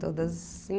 Todas em